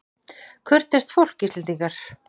Kurteist fólk, Íslendingar.